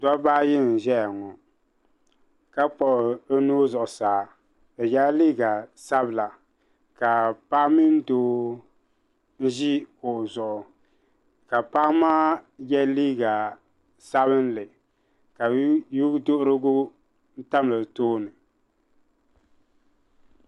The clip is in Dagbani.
dabba ayi n-ʒeya ŋɔ ka kpuɣi bɛ nuhi zuɣusaa bɛ yela liiga sabila ka paɣa mini doo ʒi kuɣu zuɣu ka paɣa maa ye liiga sabinli ka ye' duhirigu tam o tooni '